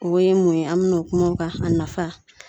O bɛɛ ye mun ye ? An bɛna kuma o kan, a nafa.